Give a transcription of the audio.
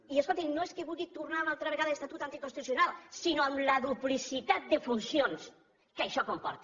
i escolti’m no és que vulgui tornar una altra vegada a l’estatut anticonstitucional sinó a la duplicitat de funcions que això comporta